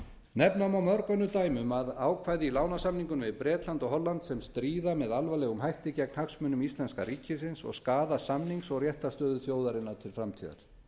nefna má mörg önnur dæmi um ákvæði í lánasamningunum við bretland og holland sem stríða með alvarlegum hætti gegn hagsmunum íslenska ríkisins og skaða samnings og réttarstöðu þjóðarinnar til framtíðar